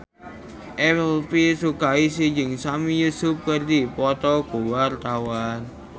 Elvy Sukaesih jeung Sami Yusuf keur dipoto ku wartawan